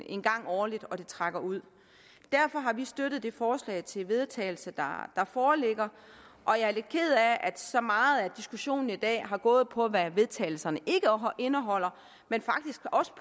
en gang årligt og det trækker ud derfor har vi støttet det forslag til vedtagelse der foreligger og jeg er lidt ked af at så meget af diskussionen i dag har gået på hvad vedtagelse ikke indeholder men faktisk også